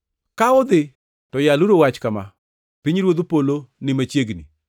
Ka udhi to yaluru wach kama: ‘Pinyruodh polo ni machiegni.’